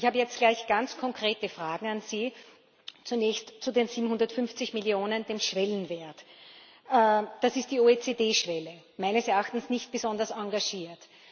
Ich habe jetzt gleich ganz konkrete Fragen an Sie Zunächst zu den 750 Millionen, dem Schwellenwert Das ist die OECD Schwelle meines Erachtens nicht besonders engagiert.